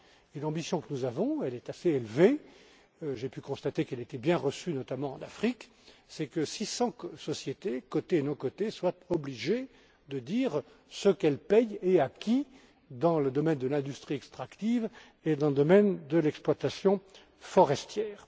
pas. Notre ambition, qui est assez élevée j'ai pu constater qu'elle était bien reçue, notamment en Afrique c'est que 600 sociétés cotées et non cotées soient obligées de dire ce qu'elles paient et à qui dans le domaine de l'industrie extractive et dans le domaine de l'exploitation forestière.